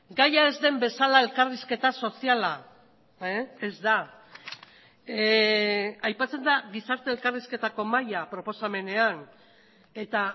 gaia ez den bezala elkarrizketa soziala ez da aipatzen da gizarte elkarrizketako mahaia proposamenean eta